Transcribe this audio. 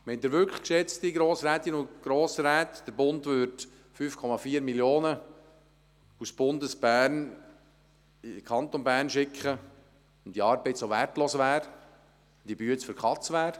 Meinen Sie wirklich, geschätzte Grossrätinnen und Grossräte, der Bund würde 5,4 Mio. Franken aus Bundesbern in den Kanton Bern schicken, wenn diese Arbeit so wertlos und für die Katz wäre?